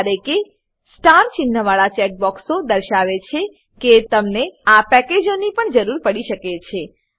જ્યારે કે સ્ટાર ચિન્હવાળા ચેકબોક્સો દર્શાવે છે કે તમને આ પેકેજોની પણ જરૂર પડી શકે છે